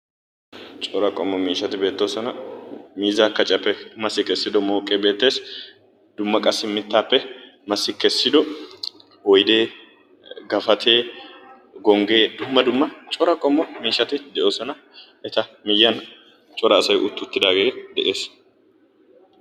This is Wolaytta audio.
Cora qommo miishshati beettoosona. Miizzaa kaciyaappe massi kessido mooqee beettees dumma qassi mittaappe massi kessido oyidee, gapatee, gonggee dumma dumma cora qommo miishshati de'oosona. eta miyyiyan cora asayi utti uttidaagee de'ees.